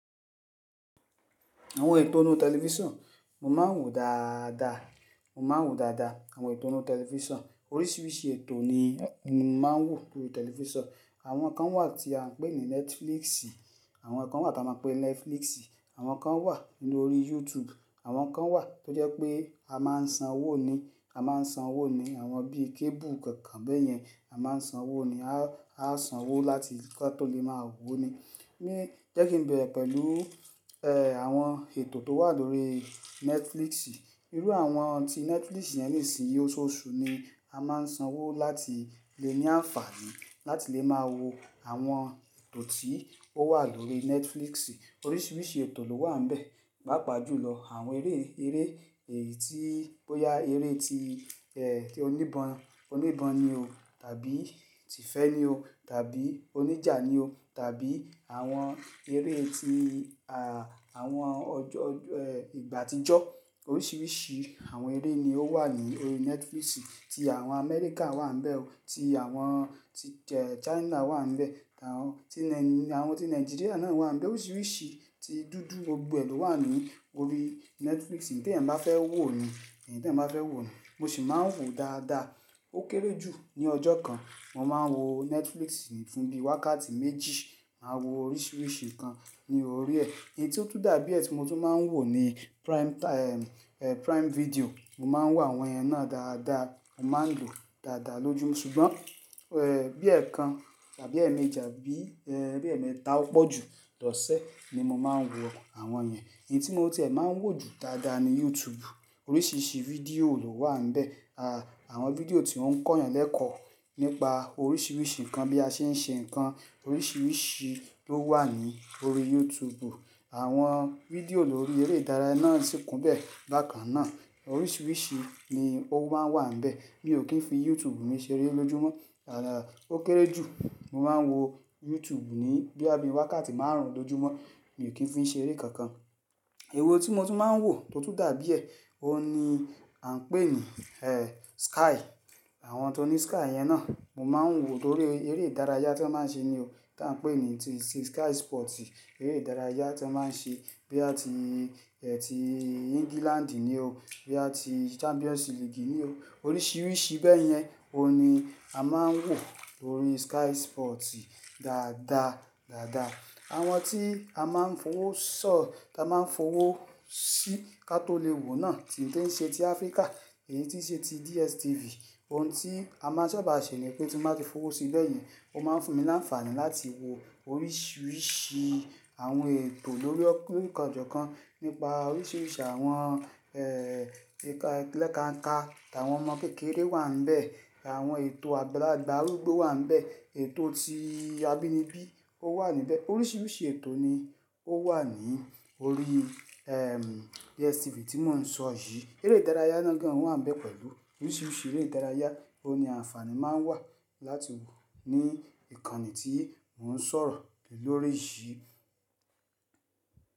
Àwọn ètò inú tẹlifísàn mo máa ń wò dáadáa, mo máa ń wò dáadáa àwọn ètò inú tẹlifísàn. Oríṣiríṣi ètò ni mo máa ń wò lórí tẹlifísàn. Àwọn kan wà tí a ń pè ní Netflix, àwọn kan wà tí a máa ń pè Netflix, àwọn kan wà nínú orí YouTube, àwọn kan wà tó jẹ́ pé a máa ń sanwó ni, a máa ń sanwó ni. Àwọn bí i kébù kankan bẹ́yẹn a máa ń sanwó ni, a sanwó láti kí a tó lè máa wò ó ni. Ni jẹ́ kí n bẹ̀rẹ̀ pẹ̀lú, ẹ́, àwọn ètò tó wà lórí Netflix. Irú àwọn ohun tí Netflix yẹn nísinsìnyí osooṣú ni a máa ń sanwó láti lè ní àǹfààní láti lè máa wo àwọn ètò tí ó wà lórí Netflix. Oríṣiríṣi ètò ló wà níbẹ̀, pàapaà jù lọ àwọn eré, eré èyí tí ó yá, eré tí, ẹ́, tí oní ìbọn, oní ìbọn ni o tàbí ti ìfẹ́ ni o tàbí oníjà ni o tàbí àwọn eré tí, àwọn ọjọ́, ọjọ́, ẹ́, ìgbà àtijọ́. Oríṣiríṣi àwọn eré ni ó wà ní orí Netflix. Ti àwọn Amẹ́ríkà wà níbẹ̀ o, ti àwọn, ti, ẹ́, China wà níbẹ̀, àwọn ti Na-- àwọn tí Nàìjíríà náà wà níbẹ̀. Oríṣiríṣi ti dúdú gbogbo è lówà ní orí Netflix. Ǹ tí ènìyàn bá fẹ́ wò ni, ǹ tí ẹ́ bá fẹ́ wò ni. Mo sì máa ń wò dáadáa. Ó kéré jù ní ọjọ́ kan mo máa ń wo Netflix fún bi wákàtí méjì. Màá wo oríṣiríṣi nǹkan ní orí ẹ́. Ǹ tó tún tí dàbí ẹ́ tí mo tún máa ń wò ni Prime Ti-- ẹ́, Prime Video. Mo máa ń wò àwọn yẹn náà dáadáa. Mo máa ń lòó dáadáa lójú mọ́ ṣùgbọ́n, ẹ́, bí i ẹẹkan tàbí ẹẹ̀mẹji, bí i, ẹ́, bí i ẹẹ̀mẹta ó pọ̀ ju lọ sẹ́ ni mo máa ń wò àwọn ẹ́ náà. Èyí tí mo ti è máa ń wò jù dáadáa ni YouTube. Oríṣiríṣi fídíò ló wà níbẹ̀. A, àwọn fídíò tí ó ń kọ́ ènìyàn lẹ́kọ̀ọ́ nípa oríṣiríṣi nǹkan bí a ṣe ń ṣe nǹkan oríṣiríṣi ló wà ní orí YouTube. Àwọn fídíò lórí eré ìdárayá náà tí kún bẹ́ẹ̀ bákan náà. Oríṣiríṣi ni ó máa ń wà níbẹ̀. Mi ò kí ń fi YouTube mi ṣeré lójúmọ́. Àà, ó kéré jù mo máa ń wo YouTube ní bí i, àbí wákàtí márùn-ún lójúmọ́. Mi ò kí ń fi í ṣeré kankan. Èwo tí mo tún máa ń wò tó tún dàbí ẹ̀, ó ni à ń pè ní, ẹ́, Sky. Àwọn tó ní Sky yẹn náà mo máa ń wò ó tórí eré ìdárayá tí wọ́n máa ń ṣe ni o tí a ń pè ní Sky Sports. Eré ìdárayá tí wọ́n máa ń ṣe bí àti, ẹ́, tí England ni o, bí àti Champions League ni o. Oríṣiríṣi bẹ́yẹn òní a máa ń wò orí Sky Sports dáadáa, dáadáa. Àwọn tí a máa ń fowó ṣọ́, tí a máa ń fowó sí kí a tó lè wò náà tí ń ṣe ti Áfríkà, èyí tí ń ṣe ti DSTV, ohun tí a máa ń ṣába ṣè ní pé tí wọ́n bá ti fowó sí béyen, ó máa ń fún mi ní àǹfààní láti wò oríṣiríṣi àwọn ètò lórí kọ̀ọ̀kan nípa oríṣiríṣi àwọn, ẹ́, ẹka ẹlẹ́kànká. Tí àwọn ọmọ kékeré wà níbẹ̀, àwọn ètò àgbàlagbà arúgbó wà níbẹ̀, ètò tí abínibí ó wà níbẹ̀. Oríṣiríṣi ètò ni ó wà ní orí, ẹ́, DSTV tí mò ń sọ yìí. Eré ìdárayá náà gan wà níbẹ̀ pẹ̀lú. Oríṣiríṣi eré ìdárayá òní àǹfààní máa ń wà láti wò ní ìkànnì tí mò ń sọ̀rọ̀ lórí yìí.